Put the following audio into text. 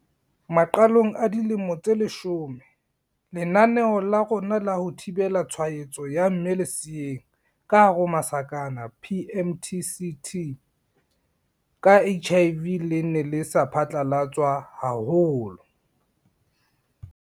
Maqalong a dilemo tse leshome, lenaneo la rona la ho thibela tshwaetso ya mme leseeng, PMTCT, ka HIV le ne le sa phatlalatswa haholo.